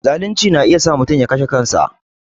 Zalunci na iya sa mutum ya kashe kansa